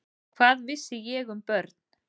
Hvað vissi ég um börn?